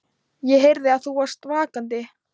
ÉG HEYRÐI AÐ ÞÚ VARST VAKANDI.